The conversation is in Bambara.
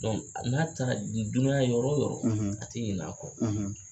Donk n'a taara dunuya yɔrɔ o yɔrɔ a tɛ ɲin' a kɔ